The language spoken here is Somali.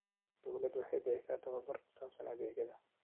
Dawladdu waxay bixisaa tababar ku saabsan adeegyada.